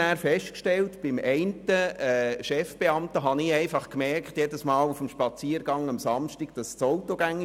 Er wollte eine gute Arbeit verrichten und kontrollierte immer alles.